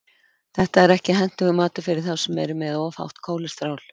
Þetta er ekki hentugur matur fyrir þá sem eru með of hátt kólesteról.